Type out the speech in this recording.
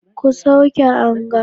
Ku sauke anga